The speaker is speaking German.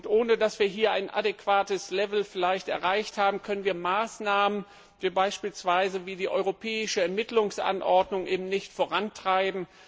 Ohne dass wir hier ein adäquates Level erreicht haben, können wir Maßnahmen wie beispielsweise die europäische Ermittlungsanordnung nicht vorantreiben.